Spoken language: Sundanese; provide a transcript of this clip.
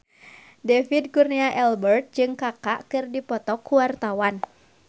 David Kurnia Albert jeung Kaka keur dipoto ku wartawan